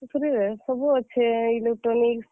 ସୁଶ୍ରୀ ରେ, ସବୁ ଅଛେ, Electronics ।